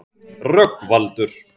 Rögnvaldur